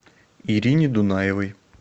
ирине дунаевой